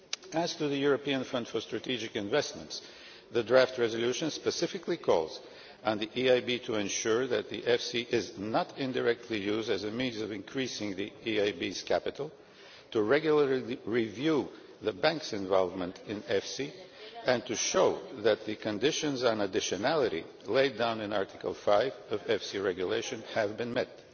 As for the European Fund for Strategic Investments, the draft resolution specifically calls on the EIB to ensure that the EFSI is not indirectly used as a means of increasing the EIB's capital, to regularly review the Bank's involvement in EFSI, and to show that the conditions on additionality laid down in Article 5 of the EFSI Regulation have been met.